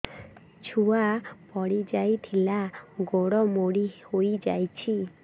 ଛୁଆ ପଡିଯାଇଥିଲା ଗୋଡ ମୋଡ଼ି ହୋଇଯାଇଛି